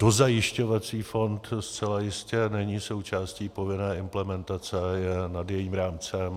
Dozajišťovací fond zcela jistě není součástí povinné implementace, je nad jejím rámcem.